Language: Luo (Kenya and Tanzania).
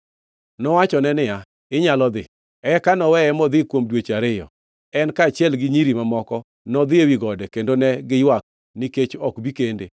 Nowachone niya, “Inyalo dhi.” Eka noweye modhi kuom dweche ariyo. En kaachiel gi nyiri mamoko nodhi ewi gode kendo ne giywak nikech ok bi kende.